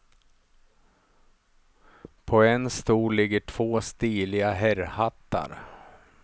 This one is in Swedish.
På en stol ligger två stiliga herrhattar.